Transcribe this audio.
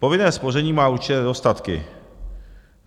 Povinné spoření má určité nedostatky.